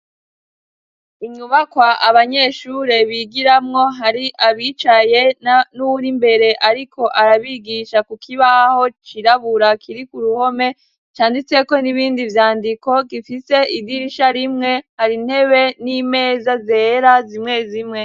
Inyubakwa abanyeshure bigiramwo hari abicaye nuwuri imbere ariko arabigisha kukibaho cirabura kiri kuruhome canditseko n'ibindi vyandiko gifise idirisha rimwe, hari intebe n'imeza zera zimwe zimwe.